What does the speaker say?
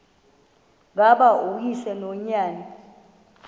ngaba uyise nonyana